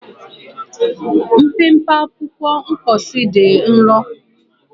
Mpempe akwụkwọ mposi dị nro.